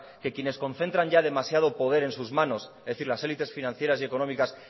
que quienes concentran ya demasiado poder en sus manos es decir las élites financieras y económicas